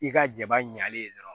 I ka jaba ɲalen dɔrɔn